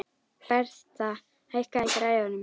Bertha, hækkaðu í græjunum.